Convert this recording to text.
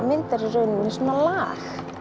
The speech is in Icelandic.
myndar í rauninni lag